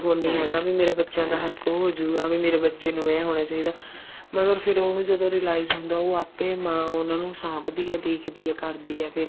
ਨਹੀਂ ਹੈਗਾ ਵੀ ਮੇਰੇ ਬੱਚਿਆਂ ਦਾ ਹੱਕ ਹੋਜੂਗਾ ਵੀ ਮੇਰੇ ਬੱਚੇ ਨੂੰ ਏਵੇਂ ਹੋਣਾ ਚਾਹੀਦਾ ਮਗਰ ਫ਼ੇਰ ਜਦੋਂ ਉਹ realize ਹੁੰਦਾ ਉਹ ਆਪੇ ਮਾਂ ਉਹਨਾ ਨੂੰ ਸਾਂਭਦੀ ਹੈ ਦੇਖਦੀ ਹੈ ਕਰਦੀ ਹੈ ਫ਼ੇਰ